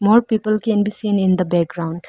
more people can be seen in the background.